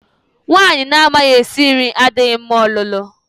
Nwaanyị na-amaghi esi nri adịghị mma ọlụlụ.